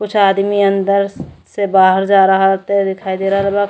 कुछ आदमी अंदर से बाहर जा रहत दिखाई दे रहल बा।